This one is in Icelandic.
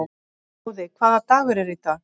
Móði, hvaða dagur er í dag?